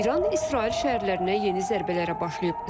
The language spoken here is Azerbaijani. İran İsrail şəhərlərinə yeni zərbələrə başlayıb.